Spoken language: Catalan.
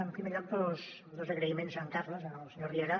en primer lloc dos agraïments a en carles al senyor riera